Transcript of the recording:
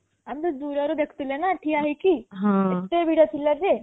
ଆମେ ତ ଦୂର ରୁ ଦେଖୁ ଥିଲେ ନା ଠିଆ ହେଇକି ଏତେ ଭିଡ଼ ଥିଲା ଯେ